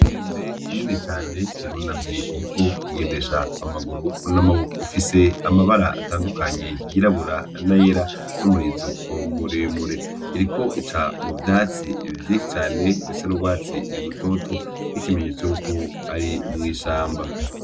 Inkende nini cane irunamye iriko igendesha amaguru n'amaboko, ifise amabara atandukanye yirabura n'ayera n'umurizo mu remure, iriko ica mu vyatsi vyishi cane bisa n'urwatsi rutoto nki kimenyetso yuko ari mwishamba.